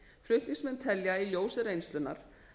flutningsmenn telja í ljósi reynslunnar